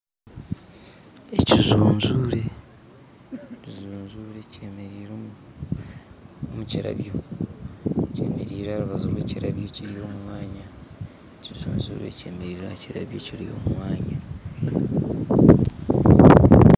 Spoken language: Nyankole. Ekijunjure kyemereire aharubaju rwekirabyo kiri omumwanya ekijunjure kyemereire ahakirabyo kiri omumwanya